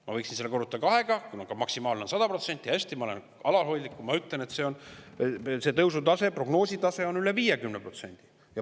Ma võiksin selle korrutada kahega, maksimaalne on 100%, aga hästi, ma olen alalhoidlik ja ütlen, et see prognoositav tõusu tase on üle 50%.